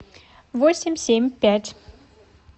восемь семь пять